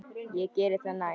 Ég geri það næst.